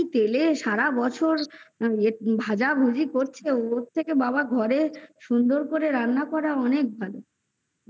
একই তেলে সারাবছর ভাজাভুজি করছে ওর থেকে বাবা ঘরের সুন্দর করে রান্না করা অনেক ভালো